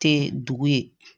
Tɛ dugu ye